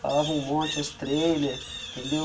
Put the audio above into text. Falava um monte nos trailers, entendeu?